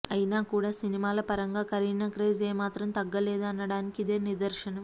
అయినా కూడా సినిమాల పరంగా కరీనా క్రేజ్ ఏమాత్రం తగ్గలేదు అనడానికి ఇదే నిదర్శనం